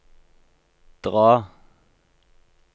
dra